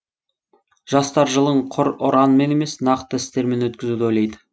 жастар жылын құр ұранмен емес нақты істермен өткізуді ойлайды